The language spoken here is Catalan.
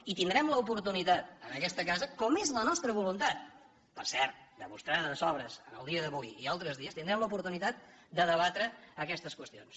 i tindrem l’oportunitat en aquesta casa com és la nostra voluntat per cert demostrada de sobres el dia d’avui i altres dies tindrem l’oportunitat de debatre aquestes qüestions